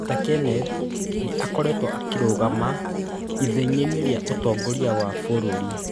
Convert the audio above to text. Peter Kenneth nĩ aakoretwo akĩrũgama ithenya-inĩ rĩa ũtongoria wa bũrũri.